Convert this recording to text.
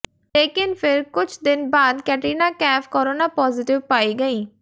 लेकिन फिर कुछ दिन बाद कैटरीना कैफ़ कोरोना पॉजिटिव पाई गईं